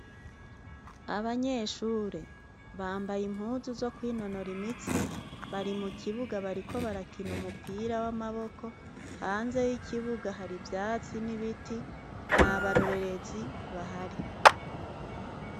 Abanyeshure bambaye impuzu zo kwinonora imitsi, bari mu kibuga bariko barakina umupira w'amaboko. Hanze y'ikibuga, hari ivyatsi n'ibiti nt'abarorerezi bahari.